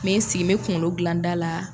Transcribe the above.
N bɛ n sigi, n bɛ kunkolo dilan da la.